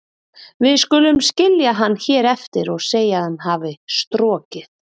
Við skulum skilja hann hér eftir og segja að hann hafi strokið.